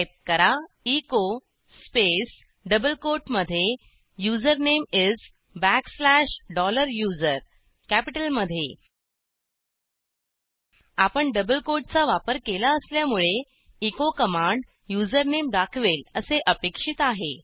type करा echo space double कोटमधे username is backslash dollar user कॅपिटलमधे आपण डबल कोटचा वापर केला असल्यामुळेecho कमांड युझरनेम दाखवेल असे अपेक्षित आहे